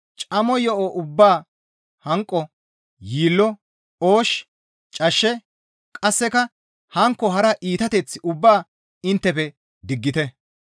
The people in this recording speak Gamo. Camo yo7o ubbaa hanqo, yiillo, oosh, cashshe, qasseka hankko hara iitateth ubbaa inttefe diggite.